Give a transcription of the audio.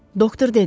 doktor dedi.